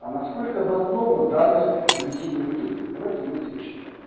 а насколько обоснована данная агрессивная методика давайте вместе почитаем